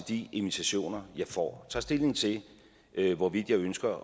de invitationer jeg får tager stilling til hvorvidt jeg ønsker